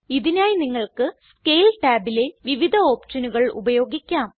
ഇതിനായി നിങ്ങൾക്ക് സ്കേൽ ടാബിലെ വിവിധ ഓപ്ഷനുകൾ ഉപയോഗിക്കാം